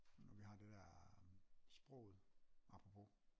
Jo vi har det der sproget apropos